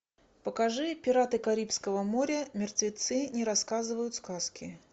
покажи пираты карибского моря мертвецы не рассказывают сказки